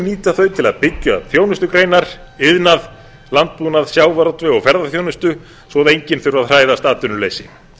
nýta þau til að byggja upp þjónustugreinar iðnað landbúnað sjávarútveg og ferðaþjónustu svo enginn þurfi að hræðast atvinnuleysi